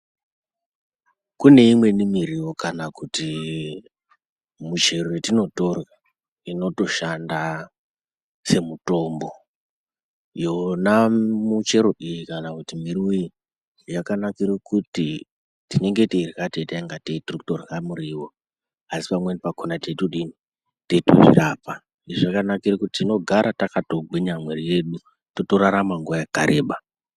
Kune imweni miriwo kana kuti muchero yetinotorya inotoshanda semutombo yona muchero iyi kana kuti miriwo iyi yakanakire kuti tinenge teirya teita ngatei tirikutorye muriwo asi pamweni pakona teitozvirapa, zvakanakira kuti tinogara takatogwinya mwiri yedu totorarama nguwa yakareba.